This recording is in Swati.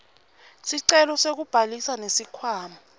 sicelo sekubhalisa nesikhwama